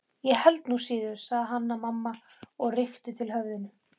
Ég held nú síður, sagði Hanna-Mamma og rykkti til höfðinu